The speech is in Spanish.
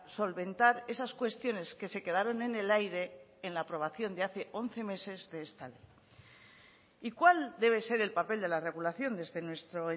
solventar esas cuestiones que se quedaron en el aire en la aprobación de hace once meses de esta ley y cuál debe ser el papel de la regulación desde nuestro